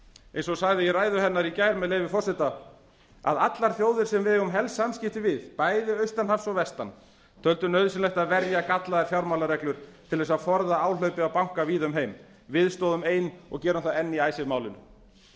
eins og sagði í ræðu hennar í gær með leyfi forseta að allar þjóðir sem við eigum helst samskipti við bæði austan hafs og vestan töldu nauðsynlegt að verja gallaðar fjármálareglur til að forða áhlaupi á banka víða um heim við stóðum ein og gerum það enn í icesave málinu